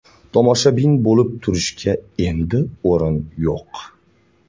Tomoshabin bo‘lib turishga endi o‘rin yo‘q.